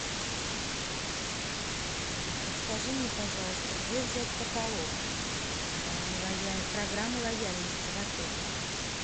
подскажи мне пожалуйста где взять каталог программы лояльности в отеле